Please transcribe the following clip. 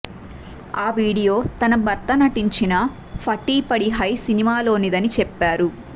ఆ వీడియో తన భర్త నటించిన ఫటీ పడి హై సినిమాలోనిదని చెప్పారు